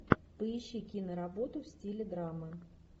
поищи киноработу в стиле драмы